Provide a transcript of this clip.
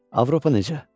Avropa necə?